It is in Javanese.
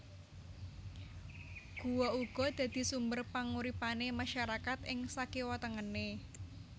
Guwa uga dadi sumber panguripanè masyarakat ing sakiwatengené